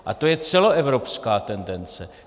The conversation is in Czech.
A to je celoevropská tendence.